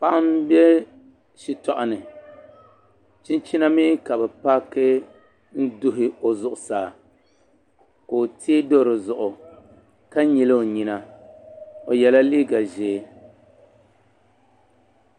Paɣa n bɛ shitoɣu ni chinchina mii ka bi paaki n duhi o zuɣusaa ka o tee do dizuɣu ka nyili o nyina o yɛla liiga ʒiɛ